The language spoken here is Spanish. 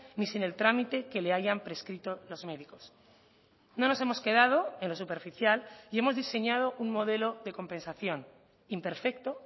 ni sin el trámite que le hayan prescrito los médicos no nos hemos quedado en lo superficial y hemos diseñado un modelo de compensación imperfecto